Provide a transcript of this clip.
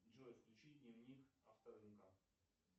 джой включи дневник авторынка